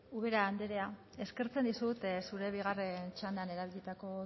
ubera andrea eskertzen dizut zure bigarren txandan erabilitako